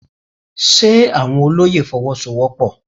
Ṣe àwọn olóyè Fọwọ́sowọ́pọ̀?